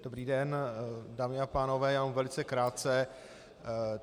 Dobrý den, dámy a pánové, já jenom velice krátce.